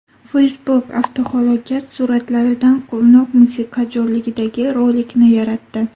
Facebook avtohalokat suratlaridan quvnoq musiqa jo‘rligidagi rolikni yaratdi .